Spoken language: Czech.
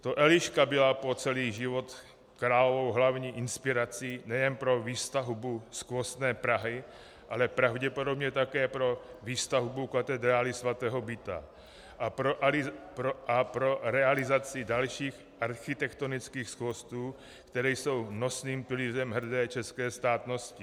To Eliška byla po celý život královou hlavní inspirací nejen pro výstavbu skvostné Prahy, ale pravděpodobně také pro výstavbu katedrály svatého Víta a pro realizaci dalších architektonických skvostů, které jsou nosným pilířem hrdé české státnosti.